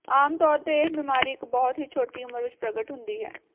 ਆਮ ਤੌਰ ਤੇ ਇਹ ਬਿਮਾਰੀ ਇਕ ਬਹੁਤ ਹੀ ਛੋਟੀ ਉਮਰ ਵਿਚ ਪ੍ਰਗਟ ਹੁੰਦੀ ਹੈ